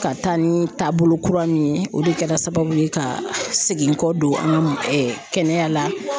Ka taa ni taabolo kura min ye o de kɛra sababu ye ka segin n kɔ don an ka kɛnɛya la